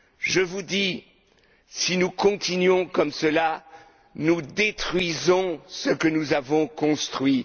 pays. Je vous le dis, si nous continuons comme cela, nous détruisons ce que nous avons construit.